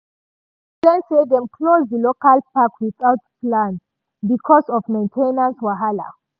news explain say dem close di local park without plan because of main ten ance wahala.